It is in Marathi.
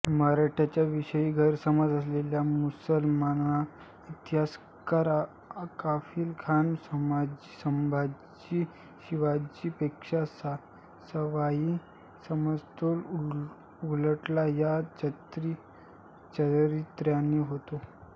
मराठ्यांच्या विषयीं गैरसमज असलेला मुसलमान इतिहासकार काफिखान संभाजीस शिवाजीपेक्षां सवाई समजतोयाचा उलगडा या चरित्राने होतो